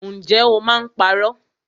Ǹjẹ́ o máa ń parọ́?